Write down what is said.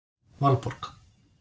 Valborg